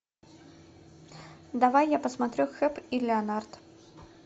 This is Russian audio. давай я посмотрю хэп и леонард